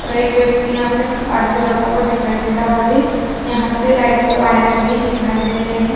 और एक व्यक्ति यहाँ से गाड़ी पे जाता हुआ दिखाई दे रहा है। यहाँ से लाइट का वायर भी दिखाई दे रहे हैं।